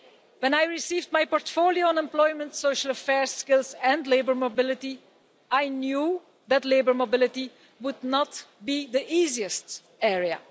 When I received my portfolio on employment, social affairs, skills and labour mobility, I knew that labour mobility would not be the easiest area.